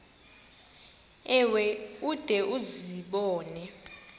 ewe ude uzibone